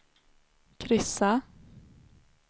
kryssa